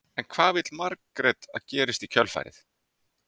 En hvað vill Margrét að gerist í kjölfarið?